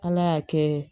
Ala y'a kɛ